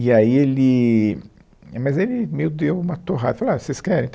E aí ele, mas ele meio deu uma torrada, falou ah, vocês querem?